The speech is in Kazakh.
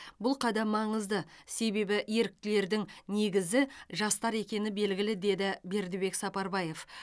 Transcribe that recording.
бұл қадам маңызды себебі еріктілердің негізі жастар екені белгілі деді бердібек сапарбаев